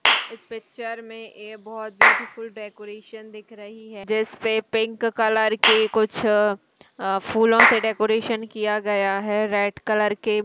इस पिक्चर में ये बहुत ब्यूटीफुल डेकोरेशन दिख रही है जिस पे पिंक कलर के कुछ फूलों से डेकोरेशन किया गया है रेड कलर के --